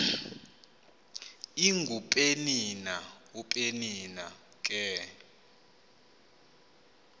ingupenina upenina ke